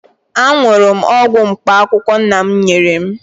Aṅụrụ m ọgwụ mkpaakwụkwọ nna m nyere m